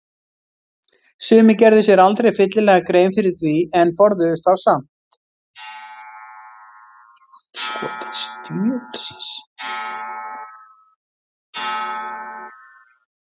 Sumir gerðu sér aldrei fyllilega grein fyrir því en forðuðust þá samt.